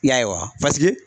I y'a ye wa paseke